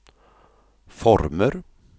former